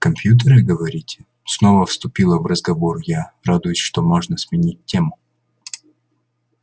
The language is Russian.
компьютеры говорите снова вступила в разговор я радуясь что можно сменить тему